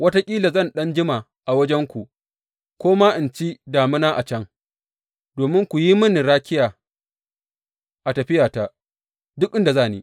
Wataƙila zan ɗan jima a wajenku, ko ma in ci damina a can, domin ku yi mini rakiya a tafiyata, duk inda za ni.